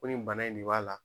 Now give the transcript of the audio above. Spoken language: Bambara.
Ko ni bana in de b'a la.